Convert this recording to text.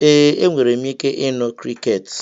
Ee, enwere m ike ịnụ crickets.